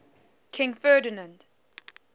king ferdinand